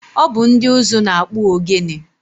Ọ bụ ndị ụzụ na-akpụ ogene.